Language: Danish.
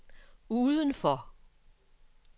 udenfor